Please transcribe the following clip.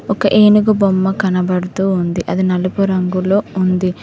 ఒక ఏనుగు బొమ్మ కనబడుతూ ఉంది అది నలుపు రంగులో ఉంది.